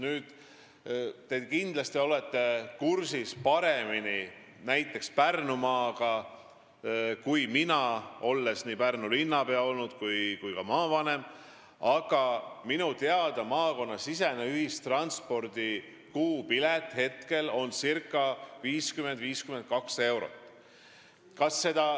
Te olete kindlasti näiteks Pärnumaaga paremini kursis kui mina, sest olete olnud nii Pärnu linnapea kui ka maavanem, aga minu teada on maakonnasisese ühistranspordi kuupilet praegu ca 50–52 eurot.